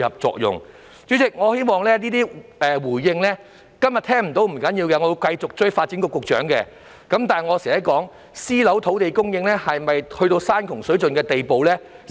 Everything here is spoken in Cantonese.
代理主席，即使今天聽不到當局的回應，不要緊，我也會繼續追問發展局局長私樓土地供應是否已到山窮水盡的地步。